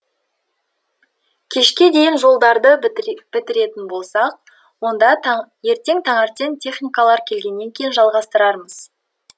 кешке дейін жолдарды бітіретін болсақ онда ертең таңертең техникалар келгеннен кейін жалғастырамыз